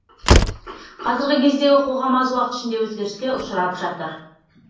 қазіргі кездегі қоғам аз уақыт ішінде өзгеріске ұшырап жатыр